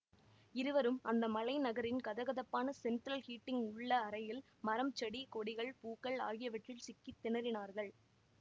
இருவரும் அந்த மலைநகரின் கதகதப்பான ஸெண்ட்ரல் ஹீட்டிங் உள்ள அறையில் மரம் செடி கொடிகள் பூக்கள் ஆகியவற்றில் சிக்கி திணறினார்கள்